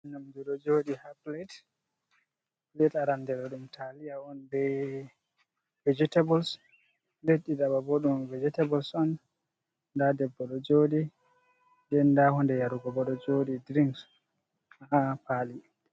Nyamdu ɗo jooɗi ha plet, plet arande ɗo ɗum taliya on be vejitabuls, nden ɗiɗaɓa bo ɗum vejitabuls on, nda debbo ɗo jooɗi, nden nda hunde yarugo bo ɗo jooɗi drinks, ha paali.